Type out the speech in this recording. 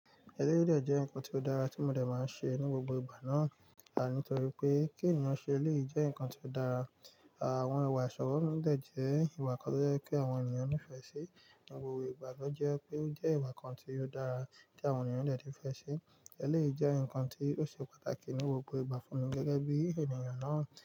Ẹrẹ́ dẹ̀ jẹ́ nǹkan tí ó dára tí mo dẹ̀ máa ń ṣe ní gbogbo ìgbà náà. Ànítorí pé kí ènìyàn ṣe léè jẹ́ nǹkan tí ó dára. Àwọn ìwà ìṣọ̀rọ̀ mi dẹ jẹ́ ìwà kan tó jẹ́ pé àwọn ènìyàn nífẹ̀ẹ́ sí. Ǹigbogbo ìgbà ni o jẹ́ pe o je ìwà kan tí ó dára tí àwọn ènìyàn dẹ ti fẹ́ ṣe. Eleyi jẹ́ nǹkan tí ó ṣe pàtàkì ní gbogbo ìgbà fún mi gẹ́gẹ́ bí ènìyàn náà.